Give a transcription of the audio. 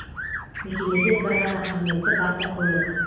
мекемеде бір ғана қызметтік автокөлік